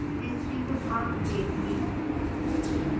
history के भाग देखने